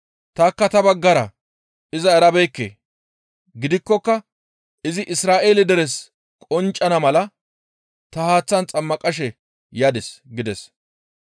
Tanikka ta baggara iza erabeekke; gidikkoka izi Isra7eele deres qonccana mala ta haaththan xammaqashe yadis» gides.